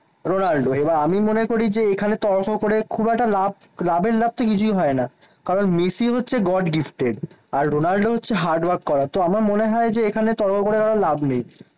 Ronaldo. এবার আমি মনে করি যে, এখানে তর্ক করে খুব একটা লাভ লাভের লাভ তো কিছুই হয় না। কারণ মেসি হচ্ছে God gifted. আর রোনাল্ডো হচ্ছে হার্ডওয়ার্ক করা তো আমার মনে হয় যে এখানে তর্ক করে কারো লাভ নেই।